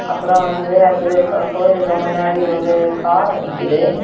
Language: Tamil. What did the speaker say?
அப்புறம் வந்து அதுக்கப்பு கோயிலுக்கு முன்னாடி ஒரு கார் நிக்குது.